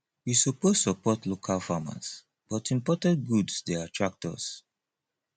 we suppose support local farmers but imported goods dey attract us